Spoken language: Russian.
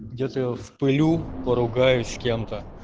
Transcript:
где то я вспютлю по ругаюсь с кем-то